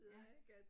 Ja